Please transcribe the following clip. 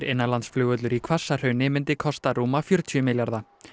innanlandsflugvöllur í Hvassahrauni myndi kosta rúma fjörutíu milljarða